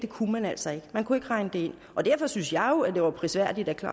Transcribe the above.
kunne man altså ikke man kunne ikke regne det ind derfor synes jeg jo at det var prisværdigt at den